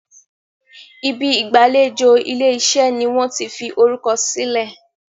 Ibi ìgbàlejò ilé-iṣẹ́ ní wón tí fí orukọ silẹ.